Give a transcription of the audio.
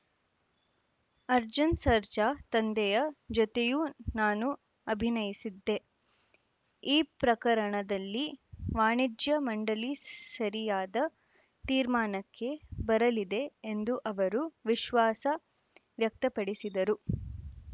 ಅರ್ಜುನ್‌ ಸರ್ಜಾ ತಂದೆಯ ಜೊತೆಯೂ ನಾನು ಅಭಿನಯಿಸಿದ್ದೆ ಈ ಪ್ರಕರಣದಲ್ಲಿ ವಾಣಿಜ್ಯ ಮಂಡಳಿ ಸರಿಯಾದ ತೀರ್ಮಾನಕ್ಕೆ ಬರಲಿದೆ ಎಂದು ಅವರು ವಿಶ್ವಾಸ ವ್ಯಕ್ತಪಡಿಸಿದರು